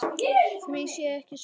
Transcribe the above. Því sé ekki svarað.